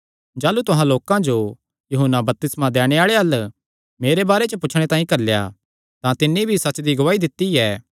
जाह़लू तुहां लोकां जो यूहन्ना बपतिस्मा दैणे आल़े अल्ल मेरे बारे च पुछणे तांई घल्लेया तां तिन्नी भी सच्च दी गवाही दित्ती ऐ